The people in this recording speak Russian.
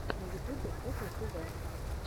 на ютюбе куклы тв